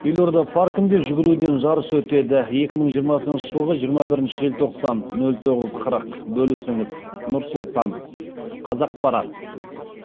елорда паркінде жүгіруден жарыс өтеді екі мың жиырмасыншы жылғы жиырма бірінші желтоқсан нөл тоғыз қырық бөлісіңіз нұр сұлтан қазақпарат